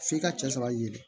F'i ka cɛ sɔrɔ ye